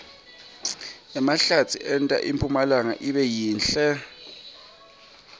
emahlatsi enta impumlanga ibe yinhle